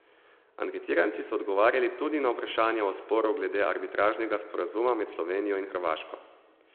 Anketiranci so odgovarjali tudi na vprašanja o sporu glede arbitražnega sporazuma med Slovenijo in Hrvaško.